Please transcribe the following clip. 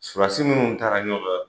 Sarawusi minnu taara ɲɔgɔn fɛ.